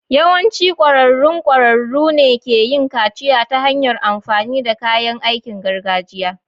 Yawancin ƙwararrun ƙwararru ne ke yin kaciya ta hanyar amfani da kayan aikin gargajiya.